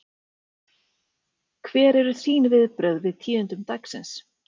Hver eru þín viðbrögð við tíðindum dagsins?